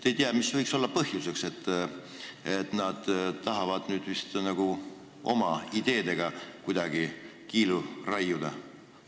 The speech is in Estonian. Ei tea, mis võiks olla põhjuseks, nad tahavad vist oma ideedega kuidagi kiilu taguda.